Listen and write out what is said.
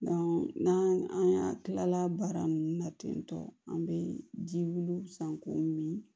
n'an an y'a kilala baara ninnu na ten tɔ an bɛ ji wuli san k'o min